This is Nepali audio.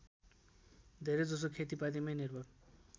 धेरैजसो खेतिपातीमै निर्भर